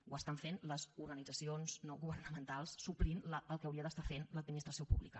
ho estan fent les organitzacions no governamentals suplint el que hauria d’estar fent l’administració pública